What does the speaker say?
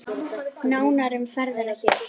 Nánar um ferðina hér.